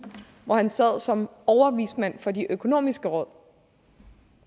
hvor han sad som overvismand for de økonomiske råd